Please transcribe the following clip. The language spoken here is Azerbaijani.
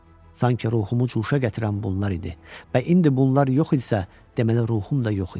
Sanki ruhumu cuşa gətirən bunlar idi və indi bunlar yox idisə, deməli ruhum da yox idi.